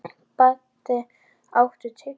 Baddi, áttu tyggjó?